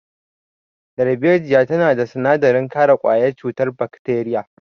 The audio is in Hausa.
Darbejiya tana da sinadarin kare ƙwayar cutar bakteriya.